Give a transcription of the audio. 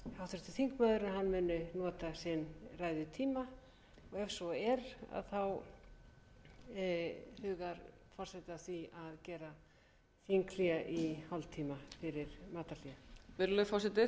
hún muni nota ræðutíma sinn og ef svo er hugar forseti að því að gera þinghlé í hálftíma fyrir matarhlé virðulegur forseti